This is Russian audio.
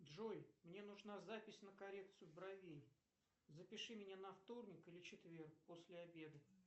джой мне нужна запись на коррекцию бровей запиши меня на вторник или четверг после обеда